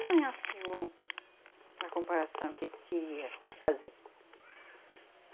Não, é assim, um, uma comparação que eu queria fazer.